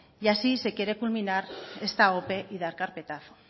y así se quiere culminar esta ope y dar carpetazo